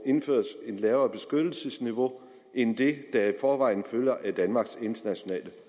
indføres et lavere beskyttelsesniveau end det der i forvejen følger af danmarks internationale